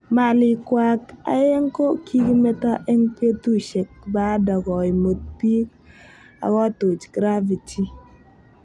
Malik kwak aeng ko kokimeto eng petushek baada koimut pik akotuch graffiti.